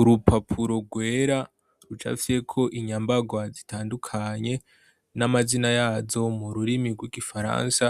urupapuro rwera rucafye ko inyambagwa zitandukanye n'amazina yazo mu rurimi rw'igifaransa